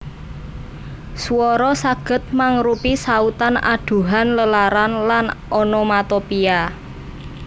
Swara saged mangrupi sautan adhuhan lelaran lan onomatopia